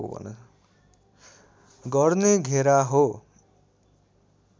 गर्ने घेरा हो